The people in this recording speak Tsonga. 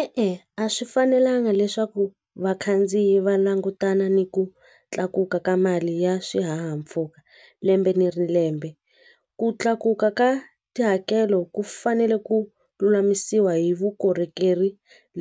I i a swi fanelanga leswaku vakhandziyi va langutana ni ku tlakuka ka mali ya swihahampfhuka lembe ni ri lembe ku tlakuka ka tihakelo ku fanele ku lulamisiwa hi vukorhokeri